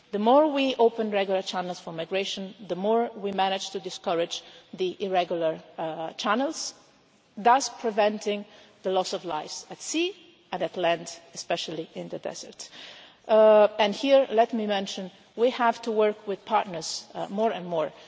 The more we open regular channels for migration, the more we manage to discourage the irregular channels, thus preventing the loss of lives at sea and on land, especially in the desert. And here let me mention we have to work with partners more and more.